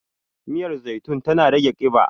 miyar zaitun tana rage kiba